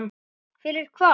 Fyrir hvað?